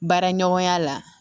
Baara ɲɔgɔnya la